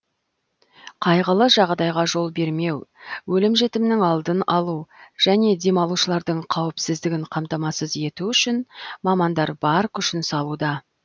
қайғылы жағдайға жол бермеу өлім жітімнің алдын алу және демалушылардың қауіпсіздігін қамтамасыз ету үшін мамандар бар күшін салуда